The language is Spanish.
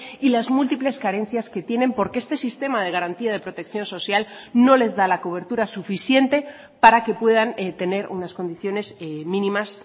y las múltiples carencias que tienen porque este sistema de garantía de protección social no les da la cobertura suficiente para que puedan tener unas condiciones mínimas